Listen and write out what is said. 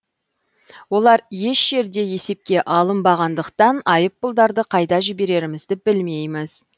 олар еш жерде есепке алынбағандықтан айыппұлдарды қайда жіберерімізді білмейміз